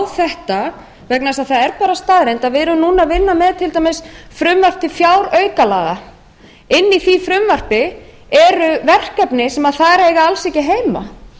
þetta vegna þess að það er bara staðreynd að við erum núna að vinna með til dæmis frumvarp til fjáraukalaga inni í því frumvarpi eru verkefni sem þar eiga alls ekki heima